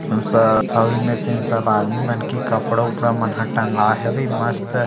हसत अऊ इहि मेर तीन सैट आदमी मन के कपड़ा उपड़ा मन ह टँगाए हवे मस्त--